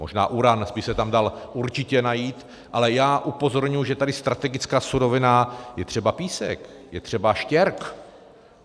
Možná uran by se tam dal určitě najít, ale já upozorňuji, že tady strategická surovina je třeba písek, je třeba štěrk.